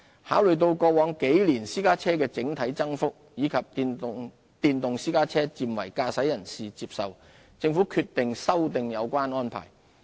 考慮到過往幾年私家車的整體增幅，以及電動私家車漸為駕駛人士接受，政府決定修訂有關安排。